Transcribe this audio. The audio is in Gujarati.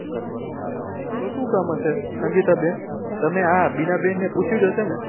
તો શું કામ હશે સંગીતા બેન તમે આ બીના બેન ને પૂછ્યુંજ હશે ને